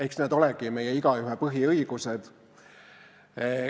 Eks need olegi meie igaühe põhiõigused.